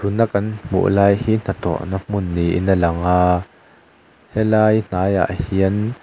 tuna kan hmuh lai hi hnathawhna hmun niin a lang a helai hnaiah ah hian--